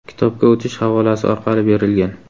kitobga o‘tish havolasi orqali berilgan.